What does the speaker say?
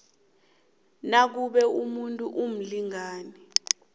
nakube umuntu umlingani